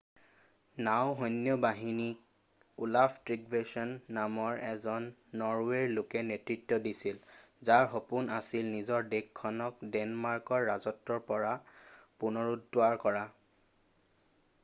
নাওঁ সৈন্য বাহিনীক ওলাফ তৃগভেচন নামৰ এজন নৰৱেৰ লোকে নেতৃত্ব দিছিল যাৰ সপোন আছিল নিজৰ দেশখনক দেনমাৰ্কৰ ৰাজত্বৰ পৰা পুনৰুদ্ধাৰ কৰা